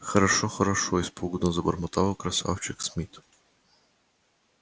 хорошо хорошо испуганно забормотал красавчик смит